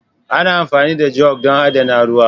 Ana amfani da jug don adana ruwa.